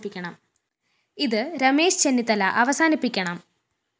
ഇത് രമേശ് ചെന്നിത്തല അവസാനിപ്പിക്കണം